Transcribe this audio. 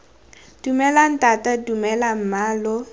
dumela ntata dumela mma lo